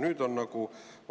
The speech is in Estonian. Nüüd on